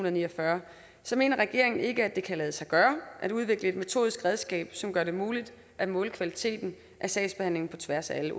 og ni og fyrre mener regeringen ikke at det kan lade sig gøre at udvikle et metodisk redskab som gør det muligt at måle kvaliteten af sagsbehandlingen på tværs af alle